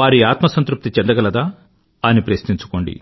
వారి ఆత్మ సంతృప్తి చెందగలదా అని ప్రశ్నించుకోండి